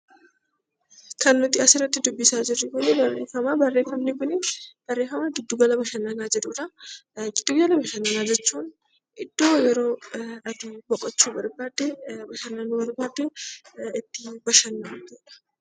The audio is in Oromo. Kan nuti asirratti dubbisaa jirru kun barreeffama. Barreeffamni kun barreeffama 'Giddugala Bashannanaa' jedhuu dha. Giddugala bashannanaa jechuun iddoo yeroo ati boqochuu barbaadde, bashannanuu barbaadde itti bashannantuu dha.